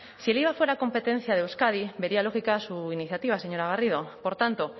si el iva fuera competencia de euskadi vería lógica su iniciativa señora garrido por tanto